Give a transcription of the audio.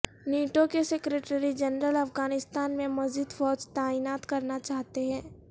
NATO کے secretary general Afghanistan میں مزید فوج تعینات کرنا چاہتے ہیں